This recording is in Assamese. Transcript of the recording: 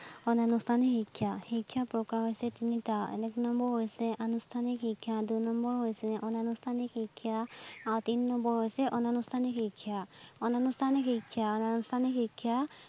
অনানুষ্ঠানিক শিক্ষা, শিক্ষাৰ প্ৰকাৰ হৈছে তিনিটা, এক নম্বৰ হৈছে আনুষ্ঠানিক শিক্ষা, দুই নম্বৰ হৈছে অনানুষ্ঠানিক শিক্ষা আৰু তিনি নম্বৰ হৈ্ছে অনানুষ্ঠানিক শিক্ষা। অনানুষ্ঠানিক শিক্ষা অনানুষ্ঠানিক শিক্ষা